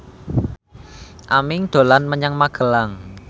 Aming dolan menyang Magelang